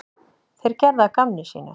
Þeir gerðu að gamni sínu.